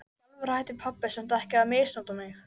Hárið úfið einsog eftir langvinnt rok.